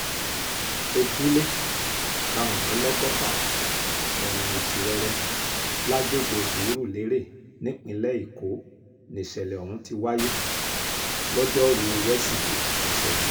ojúlé karùndínlọ́gọ́fà ọ̀nà ìtìrẹrẹ lágbègbè surulere nípínlẹ̀ èkó nìṣẹ̀lẹ̀ ohun tí wáyé lojoruu wesidee ọ̀sẹ̀ yìí